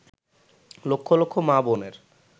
লক্ষ লক্ষ মা-বোনের